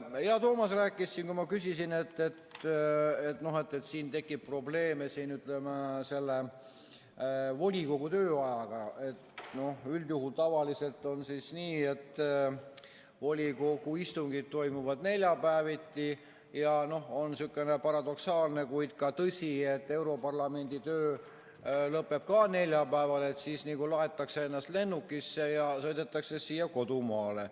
Hea Toomas rääkis siin, kui ma küsisin, et siin tekib probleeme selle volikogu tööajaga, kuidas üldjuhul, tavaliselt on nii, et volikogu istungid toimuvad neljapäeviti, ja on niisugune paradoksaalne tõsiasi, et europarlamendi töö lõpeb ka neljapäeval, nii et siis laetakse ennast lennukisse ja sõidetakse siia kodumaale.